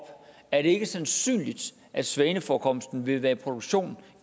er det ikke sandsynligt at svaneforekomsten vil være i produktion